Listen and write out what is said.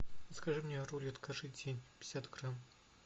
закажи мне рулет каждый день пятьдесят грамм